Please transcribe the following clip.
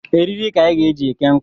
Eriri ka anyị ga-eji eke nkụ